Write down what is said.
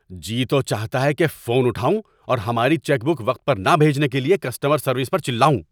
جی تو چاہتا ہے کہ فون اٹھاؤں اور ہماری چیک بک وقت پر نہ بھیجنے کے لیے کسٹمر سروس پر چلاؤں۔